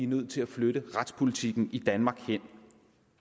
nødt til at flytte retspolitikken i danmark